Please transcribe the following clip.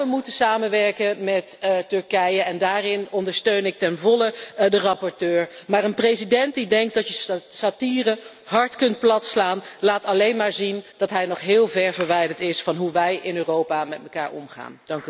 Ja, we moeten samenwerken met Turkije en daarin ondersteun ik ten volle de rapporteur, maar een president die denkt dat je satire hard kunt platslaan, laat alleen maar zien dat hij nog heel ver verwijderd is van hoe wij in Europa met elkaar omgaan.